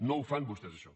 no ho fan vostès això